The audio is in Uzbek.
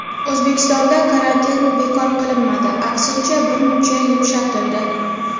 O‘zbekistonda karantin bekor qilinmadi, aksincha, birmuncha yumshatildi.